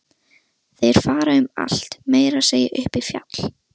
Þeir fara um allt, meira að segja upp í fjall.